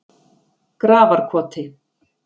Grafarkoti